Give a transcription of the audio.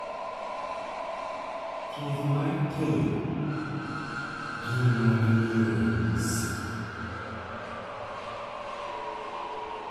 thieth mar Tay gin mag ng'iyo ranyisi